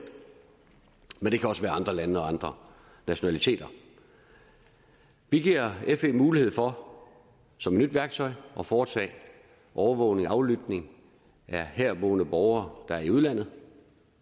men det kan også være andre lande og andre nationaliteter vi giver fe mulighed for som et nyt værktøj at foretage overvågning aflytning af herboende borgere der er i udlandet